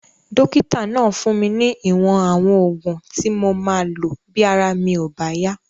Dókítà náà fún mi ní ìwọ̀n àwọn oògùn tí mo máa lò bí ara mi ò bá yá